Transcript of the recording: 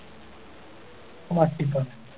മട്ടിക്കോ